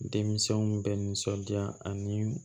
Denmisɛnw bɛ nisɔndiya ani